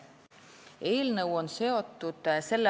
Eelnõu on seotud s.